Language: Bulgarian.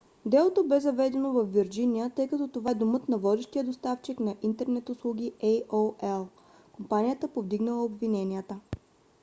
делото бе заведено във вирджиния тъй като това е домът на водещия доставчик на интернет услуги aol – компанията повдигнала обвиненията